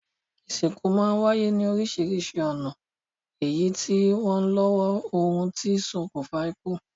Ìsìnkú máa ń wáyé ní oríṣiríṣi ọ̀nà èyí sì w lọ́wọ́ ohun tó ṣokùnfà ikú.